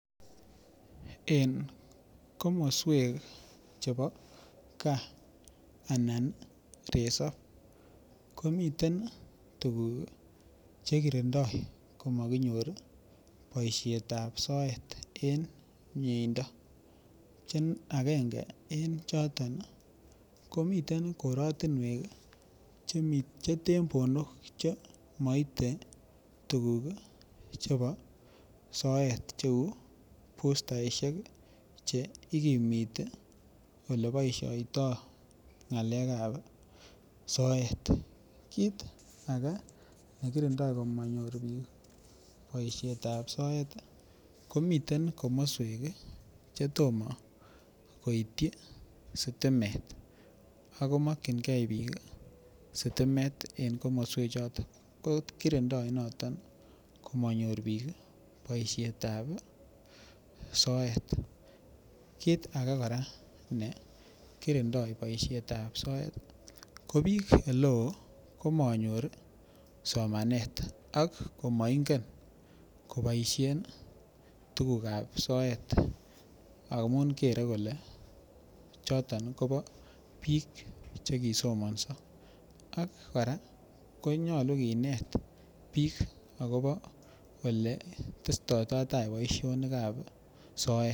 En komoswek chebo anan resop ii komiten tuguk Che kirindoi komakinyor boisionik ab soet en miendo Che agenge en choton komiten koratinwek Che tembonok Che maite tuguk chebo soet cheu bustaisiek Che igimiti Ole boisioito ngalekab soet kit age nekindoi komanyor bik boisyet ab soet ko miten komoswek Che tomo koityi sitimet ako mokyingei bik sitimet en komoswechoto ko kirindoi noton komanyor bik ii boisiet ab soet kit age ne kirindoi boisiet ab soet ko bik alak ko manyor somanet ak komaingen koboisien tuguk ab soet amun kere kole choton kobo bik Che kisomanso ak kora konyolu bik akobo Ole testoitotai boisionik ab soet